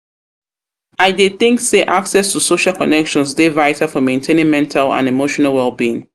dey think say access to social connections dey vital for maintaining mental and emotional well-being.